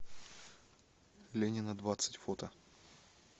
ленина двадцать фото